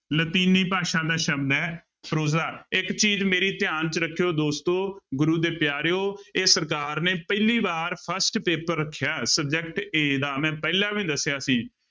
ਲਾਤੀਨੀ ਭਾਸ਼ਾ ਦਾ ਸ਼ਬਦ ਹੈ prose ਇੱਕ ਚੀਜ਼ ਮੇਰੀ ਧਿਆਨ ਚ ਰੱਖਿਓ ਦੋਸਤੋ ਗੁਰੂ ਦੇ ਪਿਆਰਿਓ, ਇਹ ਸਰਕਾਰ ਨੇ ਪਹਿਲੀ ਵਾਰ first ਪੇਪਰ ਰੱਖਿਆ subject a ਦਾ ਮੈਂ ਪਹਿਲਾਂ ਵੀ ਦੱਸਿਆ ਸੀ।